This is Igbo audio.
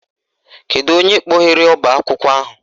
Kedu onye kpọghere ọbaakwụkwọ ahụ?